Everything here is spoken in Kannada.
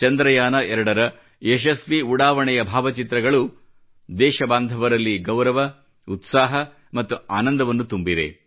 ಚಂದ್ರಯಾನ 2 ರ ಯಶಸ್ವೀ ಉಡಾವಣೆಯ ಭಾವಚಿತ್ರಗಳು ದೇಶಬಾಂಧವರಲ್ಲಿ ಗೌರವ ಉತ್ಸಾಹ ಮತ್ತು ಆನಂದವನ್ನು ತುಂಬಿದೆ